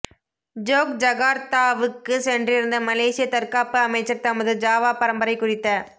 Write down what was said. ஜோக்ஜகார்த்தாவுக்குச் சென்றிருந்த மலேசியத் தற்காப்பு அமைச்சர் தமது ஜாவா பரம்பரை குறித்த